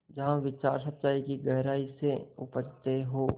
जहाँ विचार सच्चाई की गहराई से उपजतें हों